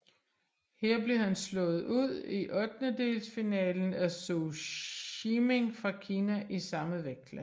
Her blev han slået ud i ottendelsfinalen af Zou Shiming fra Kina i samme vægtklasse